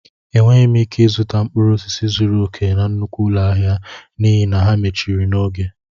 Enweghị m ike zụta mkpụrụ osisi zuru oke na nnukwu ụlọ ahịa n'ihi na ha mechiri n'oge